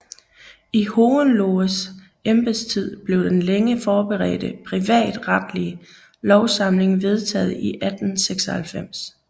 I Hohenlohes embedstid blev den længe forberedte privatretlige lovsamling vedtaget i 1896